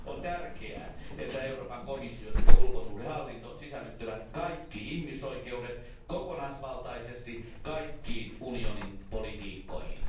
On tärkeää, että Euroopan komissio sekä ulkosuhdehallinto sisällyttävät kaikki ihmisoikeudet kokonaisvaltaisesti kaikkiin unionin politiikkoihin.